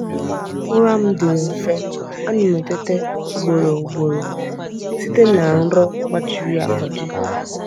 Ụra m dịrị nfe, a na m na-eteta ugboro ugboro site na nrọ gbajiri agbaji.